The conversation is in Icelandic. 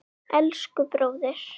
Elsku bróðir.